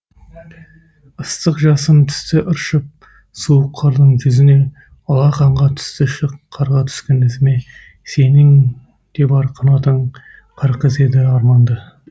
ыстық жасым түсті ыршып суық қардың жүзіне алақанға түсті шық қарға түскен ізіме сенің де бар қанатың қар қызы едің арманды